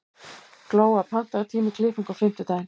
Glóa, pantaðu tíma í klippingu á fimmtudaginn.